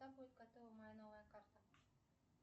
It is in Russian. когда будет готова моя новая карта